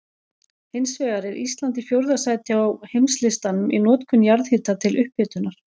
Hins vegar er Ísland í fjórða sæti á heimslistanum í notkun jarðhita til upphitunar.